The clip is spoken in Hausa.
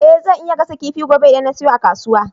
Eh zan iya gasa kifi gobe idan na siyo a kasuwa